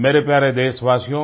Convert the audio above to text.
मेरे प्यारे देशवासियो